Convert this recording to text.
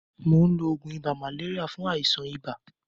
Mò ń lo oògùn ibà màléríà fún àìsàn ibà.